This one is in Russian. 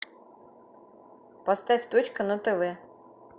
поставь точка на тв